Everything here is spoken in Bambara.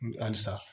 Halisa